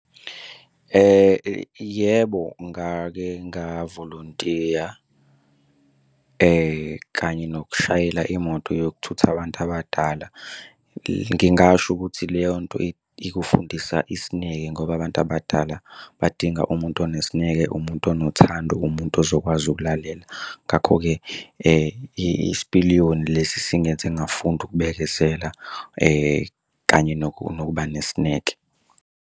Yebo, ngake ngavolontiya kanye nokushayela imoto yokuthutha abantu abadala, Ngingasho ukuthi le yonto ikufundisa isineke, ngoba abantu abadala badinga umuntu onesineke, umuntu onothando, umuntu ozokwazi ukulalela. Ngakho-ke isipiliyoni lesi singenze ngafunda ukubekezela kanye nokuba nesineke.